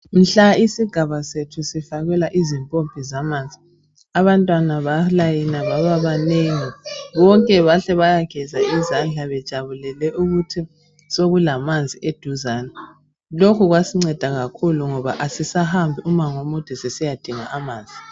Mhla isigaba sethu sifakelwa izikotsho zamanzi abantwana balayina baba banengi bonke bahle bayageza izandla bejabulele ukuthi sekulamanzi eduzane. Lokho kwasinceda kakhulu ngoba asisahambi umango omude sisiya dinga amanzi.